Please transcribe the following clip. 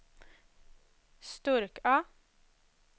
Sturkö